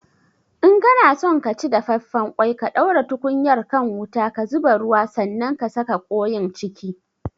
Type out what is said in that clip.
In kana son ka ci dafaffen ƙwai ka ɗaura tukunyar kan wuta, ka zuba ruwa sanan ka saka ƙoin ciki